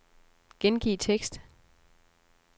Gengiv tekst.